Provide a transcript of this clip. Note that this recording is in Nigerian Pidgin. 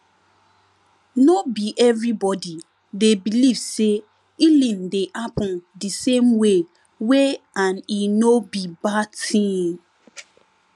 no be everybody dey believe say healing dey happen de same way way and e no be bad tin